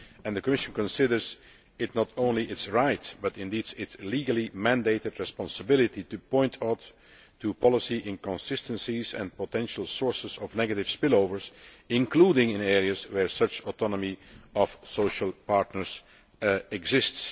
The Commission considers it not only its right, but indeed its legally mandated responsibility, to point out policy inconsistencies and potential sources of negative spillovers, including in areas where such autonomy of the social partners exists.